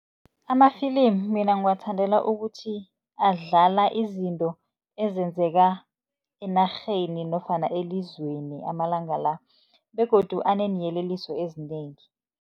Ama-film mina ngiwathandela ukuthi, adlala izinto ezenzeka enarheni nofana elizweni amalanga la begodu aneeyeleliso ezinengi.